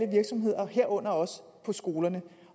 virksomheder herunder også på skolerne